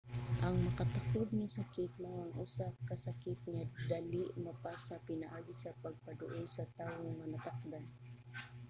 ang makatakod nga sakit mao ang usa ka sakit nga dali mapasa pinaagi sa pagpaduol sa tawo nga natakdan